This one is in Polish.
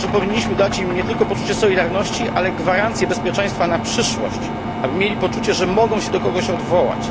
Myślę, że powinniśmy dać im nie tylko poczucie solidarności, ale gwarancję bezpieczeństwa na przyszłość, aby mieli poczucie, że mogą się do kogoś odwołać.